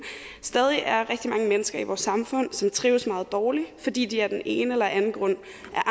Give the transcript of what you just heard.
stadig er rigtig mange mennesker i vores samfund som trives meget dårligt fordi de af den ene eller den anden grund